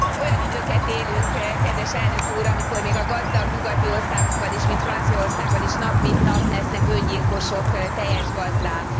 Olyan időket élünk, kedves Elnök úr, amikor még a gazdag nyugati országokban is, mint Franciaországban is, nap mint nap lesznek öngyilkosok, tejes gazdák.